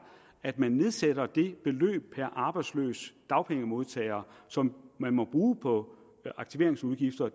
at man nedsætter det beløb per arbejdsløs dagpengemodtager som må bruges på aktiveringsudgifter